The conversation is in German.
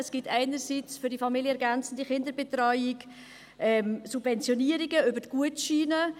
Es gibt einerseits für die familienergänzende Kinderbetreuung Subventionierungen über Gutscheine;